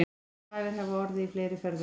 Tafir hafa orðið í fleiri ferðum